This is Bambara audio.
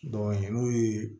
n'o ye